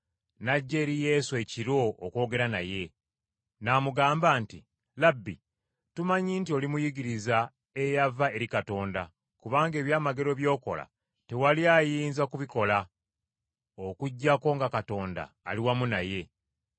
n’ajja eri Yesu ekiro okwogera naye. N’amugamba nti, “Labbi, tumanyi nti oli muyigiriza eyava eri Katonda kubanga eby’amagero by’okola tewali ayinza kubikola okuggyako nga Katonda ali wamu naye.”